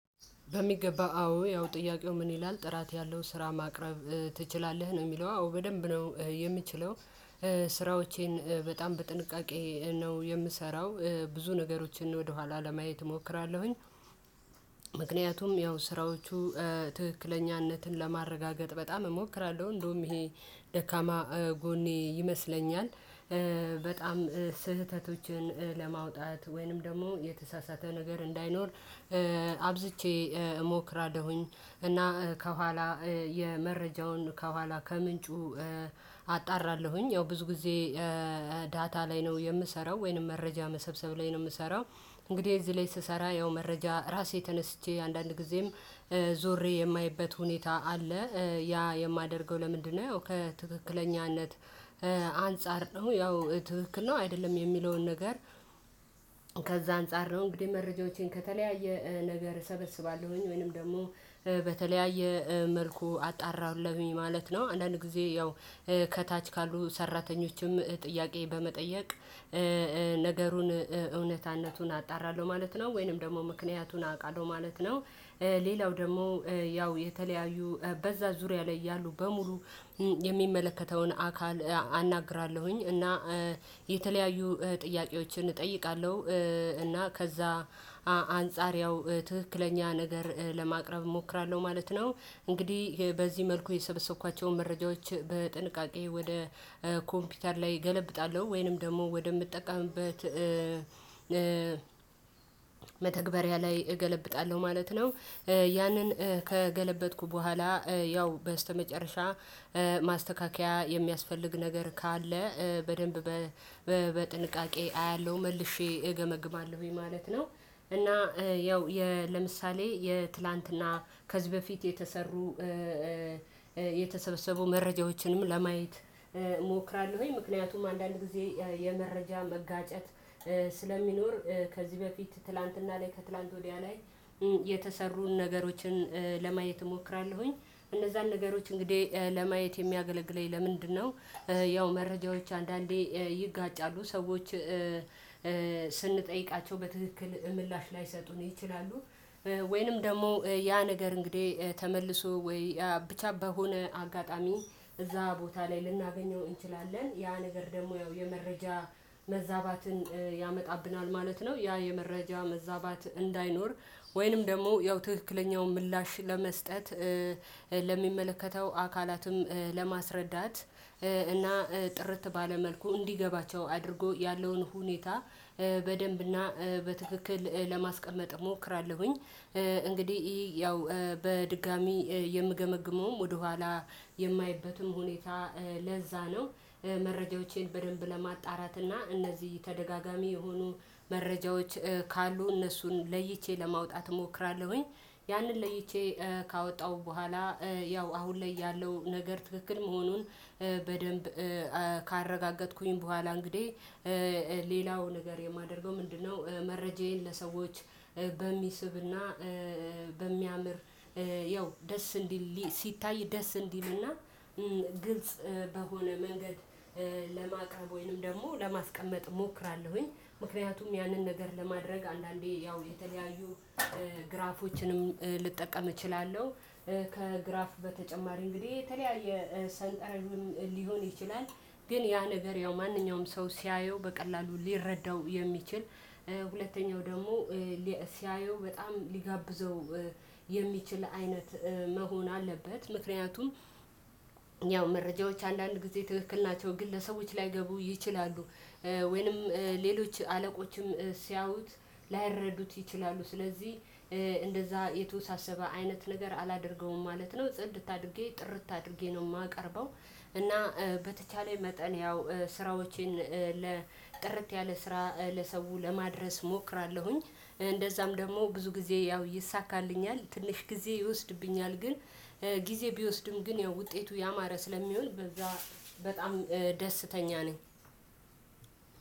በሚገባ አዎ። ያው ጥያቄው ምን ይላል ጥራት ያለው ስራ ማቅረብ ትችላለህ? ነው። የሚለው አዎ በደንብ ነው የምችለው ስራዎቼን በጣም በጥንቃቄ ነው የምሰራው ብዙ ነገሮችን ወደኋላ ለማየት እሞክራለሁኝ። ምክንያቱም ያው ስራዎቹ ትክክለኛነትን ለማረጋገጥ በጣም እሞክራለሁ። እንደውም ይሄ ደካማ ጎኔ ይመስለኛል። በጣም ስህተቶችን ለማውጣት ወይንም ደግሞ የተሳሳተ ነገር እንዳይኖር- አብዝቼ እሞክራለሁኝ። እና ከኋላ የመረጃውን ከኋላ ከምንጩ- አጣራለሁኝ። ያው ብዙ ጊዜ ዳታ ላይ ነው የምሰራው ወይንም መረጃ መሰብሰብ ላይ ነው የምሰራው። እንግዲህ እዚህ ላይ ስሰራ ያው መረጃ ራሴ ተነስቼ አንዳንድ ጊዜም ዞሬ የማይበት ሁኔታ አለ። ያ የማደርገው ለምንድ ነው? ከትክክለኛነት አንፃር ነው። ያው ትክክል ነው አይደለም የሚለውን ነገር- ከዛ አንፃር ነው። እንግዲህ መረጃዎቼን ከተለያየ ነገር እሰበስባለሁኝ ወይንም ደግሞ በተለያየ መልኩ አጣራለሁኝ ማለት ነው። አንዳንድ ጊዜ ያው ከታች ካሉ ሰራተኞችም ጥያቄ በመጠየቅ- ነገሩን እውነታነቱን አጣራለሁ ማለት ነው። ወይንም ደግሞ ምክንያቱን አውቃለሁ ማለት ነው። ሌላው ደግሞ ያው የተለያዩ በዛ ዙሪያ ላይ ያሉ በሙሉ የሚመለከተውን አካል አናግራለሁኝ። እና የተለያዩ ጥያቄዎችን እጠይቃለሁ። እና ከዛ- አንፃር ያው ትክክለኛ ነገር ለማቅረብ እሞክራለሁ ማለት ነው። እንግዲህ በዚህ መልኩ የሰበሰብኳቸውን መረጃዎች በጥንቃቄ ወደ ኮምፒውተር ላይ እገለብጣለሁ። ወይንም ደግሞ ወደምትጠቀምበት- መተግበሪያ ላይ እገለብጣለሁ ማለት ነው። ያንን ከገለበጥኩ በኋላ ያው በስተመጨረሻ ማስተካከያ የሚያስፈልግ ነገር ካለ በደንብ በጥንቃቄ አያለሁ። መልሼ እገመግማለሁኝ ማለት ነው። እና- ያው ለምሳሌ:- የትላንትና ከዚህ በፊት የተሰሩ- የተሰበሰቡ መረጃዎችንም ለማየት እሞክራለሁ። ምክንያቱም አንዳንድ ጊዜ የመረጃ መጋጨት ስለሚኖር ከዚህ በፊት ትላንትና ላይ ከትላንት ወዲያ ላይ- የተሰሩን ነገሮችን ለማየት እሞክራለሁኝ። እነዛን ነገሮች እንግዲህ ለማየት የሚያገለግለኝ ለምንድነው ያው መረጃዎች አንዳንዴ- ይጋጫሉ። ሰዎች ስንጠይቃቸው በትክክል ምላሽ ላይሰጡን ይችላሉ። ወይንም ደግሞ ያ ነገር እንግዲህ ተመልሶ ወይ ብቻ በሆነ አጋጣሚ እዛ ቦታ ላይ ልናገኘው እንችላለን። ያ ነገር ደግሞ ያው የመረጃ መዛባትን ያመጣብናል ማለት ነው። ያ የመረጃ መዛባት እንዳይኖር ወይንም ደግሞ ያው ትክክለኛውን ምላሽ ለመስጠት- ለሚመለከተው አካላትም ለማስረዳት እና ጥርት ባለ መልኩ እንዲገባቸው አድርጎ ያለውን ሁኔታ በደንብና በትክክል ለማስቀመጥ እሞክራለሁኝ። እንግዲህ- ያው በድጋሚ የምገመግመውም ወደኋላ የማይበትም ሁኔታ ለዛ ነው። መረጃዎቼን በደንብ ለማጣራት እና እነዚህ ተደጋጋሚ የሆኑ መረጃዎች ካሉ እነሱን ለይቼ ለማውጣት እሞክራለሁኝ። ያንን ለይቼ ካወጣሁ በኋላ ያው አሁን ላይ ያለው ነገር ትክክል መሆኑን በደንብ ካረጋገጥኩኝ በኋላ እንግዲህ- ሌላው ነገር የማደርገው ምንድነው መረጃዬን ለሰዎች በሚስብና በሚያምር ያው ደስ እንዲል ሲታይ ደስ እንዲልና ግልጽ በሆነ መንገድ ለማቅረብ ወይንም ደግሞ ለማስቀመጥ እሞክራለሁኝ። ምክንያቱም ያንን ነገር ለማድረግ አንዳንዴ ያው የተለያዩ ግራፎችንም ልጠቀም እችላለሁ፣ ከግራፍ በተጨማሪ እንግዲህ የተለያየ ሰንጠረዥን ሊሆን ይችላል። ግን ያ ነገር ያው ማንኛውም ሰው ሲያየው በቀላሉ ሊረዳው የሚችል- ሁለተኛው ደግሞ ሲያየው በጣም ሊጋብዘው የሚችል አይነት መሆን አለበት። ምክንያቱም:- ያው መረጃዎች አንዳንድ ጊዜ ትክክል ናቸው ግን ለሰዎች ላይገቡ ይችላሉ። ወይንም ሌሎች አለቆችም ሲያዩት ላይረዱት ይችላሉ። ስለዚህ እንደዛ የተወሳሰበ አይነት ነገር አላደርገውም ማለት ነው። ጽድት አድርጌ ጥርት አድርጌ ነው የማቀርበው። እና በተቻለኝ መጠን ያው ስራዎቼን- ለጥርት ያለ ስራ ለሰው ለማድረስ እሞክራለሁኝ። እንደዛም ደግሞ ብዙ ጊዜ ያው ይሳካልኛል። ትንሽ ጊዜ ይወስድብኛል። ግን- ጊዜ ቢወስድም ግን ያው ውጤቱ ያማረ ስለሚሆን በጣም ደስተኛ ነኝ።